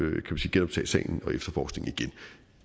genoptage sagen og efterforskningen